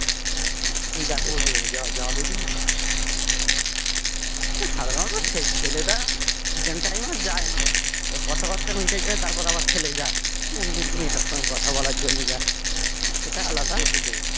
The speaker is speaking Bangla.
সাধারণত ছেলেরা second time আর যায়না এবার কথাবার্তা মিটে যায় তারপর আবার ছেলে যায় এমনি মেয়েটার সাথে কথা বলার জন্য যায়